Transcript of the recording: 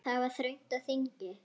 Það var þröng á þingi.